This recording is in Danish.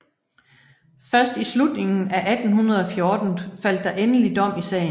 Først i slutningen af 1814 faldt der endelige dom i sagen